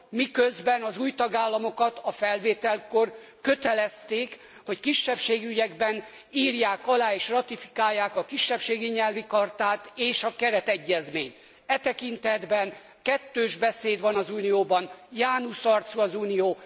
miközben az új tagállamokat a felvételkor kötelezték, hogy kisebbségi ügyekben írják alá és ratifikálják a Kisebbségi Nyelvi Chartát és a Keretegyezményt. E tekintetben kettős beszéd van az Unióban, Janus arcú az Unió.